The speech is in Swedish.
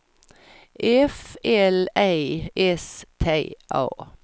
F L E S T A